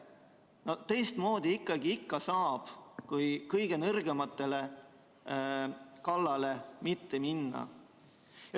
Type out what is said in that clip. Saab ikka teistmoodi, mitte ei pea kõige nõrgemate kallale minema.